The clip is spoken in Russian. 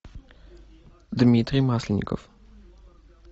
дмитрий масленников